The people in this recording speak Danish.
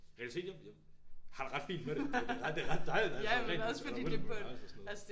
Jeg vil sige jeg jeg har det ret fint med det det er ret det er ret dejligt at der altid er pænt og ryddeligt på mit værelse og sådan noget